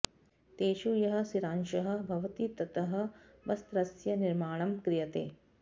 तेषु यः सिरांशः भवति ततः वस्त्रस्य निर्माणं क्रियते